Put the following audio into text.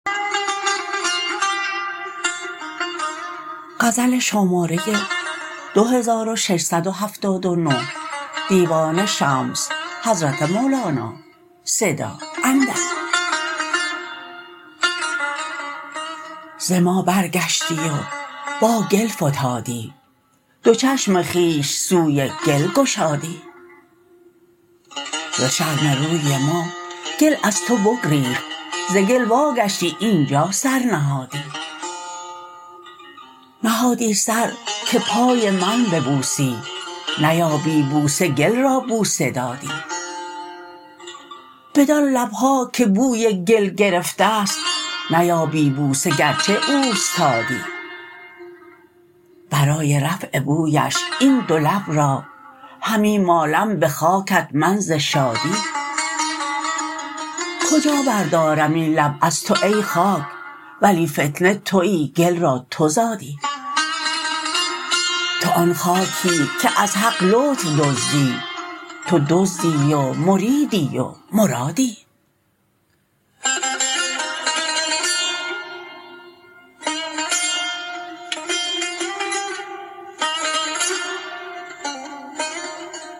ز ما برگشتی و با گل فتادی دو چشم خویش سوی گل گشادی ز شرم روی ما گل از تو بگریخت ز گل واگشتی اینجا سر نهادی نهادی سر که پای من ببوسی نیابی بوسه گل را بوسه دادی بدان لب ها که بوی گل گرفته ست نیابی بوسه گرچه اوستادی برای رفع بویش این دو لب را همی مالم به خاکت من ز شادی کجا بردارم این لب از تو ای خاک ولی فتنه توی گل را تو زادی تو آن خاکی که از حق لطف دزدی تو دزدی و مریدی و مرادی